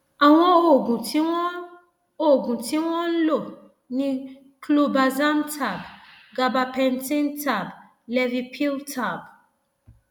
àwọn oògùn tí wọn oògùn tí wọn ń lò ni clobazam tab gabapentin tab levipil tab